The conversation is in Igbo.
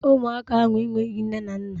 Ụmụaka ahụ enweghị nne na nna.